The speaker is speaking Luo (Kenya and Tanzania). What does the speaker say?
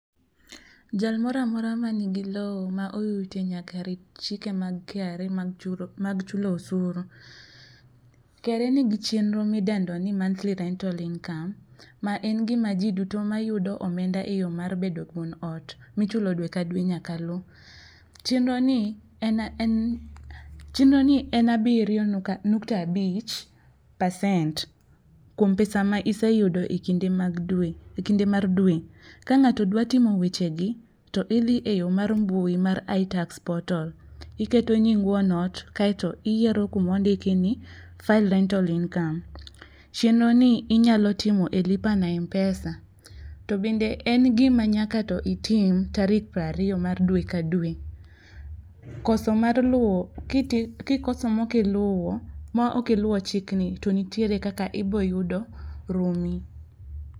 Jal moro amora ma nigi lowo ma oyute, nyaka rit chike mag KRA mag mag chulo osuru. KRA ni gi chenro ma idendo ni Monthly Rental Income ma en gima ji duto ma yudo omenda e yo mar bedo wuon ot ma ichulo dwe ka dwe nyaka lu. Chenro ni en en chenro ni en abiriyo nukta abich percent kuom pesa ma iseyudo e kinde mag dwe, e kinde mar dwe. Ka ngáto dwa timo weche gi, to idhi e yo mar mbui mar itax portal iketo nying wuon ot, iyero kuma ondiki ni file rental income. Chenro ni inyalo tomo e lipa na Mpesa to bende en gima nyaka to itim tarik piero ariyo mar dwe ka dwe. Koso mar luwo, ki ti, ki koso ma ok iluwo ma ok iluwo chikni to nitiere kaka iboyudo rumi.